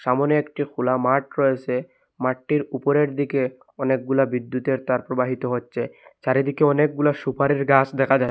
সামোনে একটি খুলা মাঠ রয়েসে মাঠটির উপরের দিকে অনেকগুলা বিদ্যুতের তার প্রবাহিত হচ্ছে চারিদিকে অনেকগুলা সুপারির গাস দেখা যায়।